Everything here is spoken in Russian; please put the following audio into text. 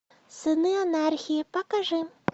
сыны анархии покажи